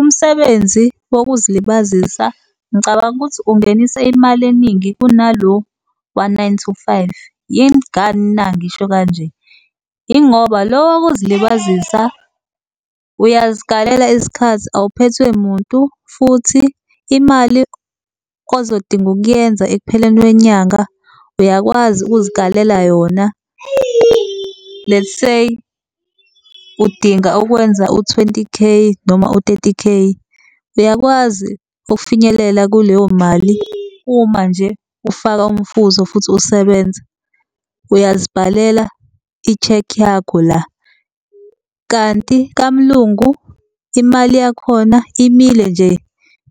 Umsebenzi wokuzilibazisa ngicabanga ukuthi ungenisa imali eningi kunalo wa-nine to five. Yingani na ngisho kanje? Yingoba lo wokuzilibazisa uyazikalela isikhathi, awuphethwe muntu futhi imali ozodinga ukuyenza ekupheleni kwenyanga uyakwazi ukuzikalela yona. Let's say udinga ukwenza u-twenty k noma u-thirty k, uyakwazi ukufinyelela kuleyo mali uma nje ufaka umfutho futhi usebenza uyazibhalela i-cheque yakho la. Kanti kamlungu imali yakhona imile nje